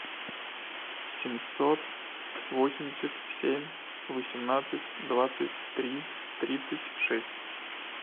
семьсот восемьдесят семь восемнадцать двадцать три тридцать шесть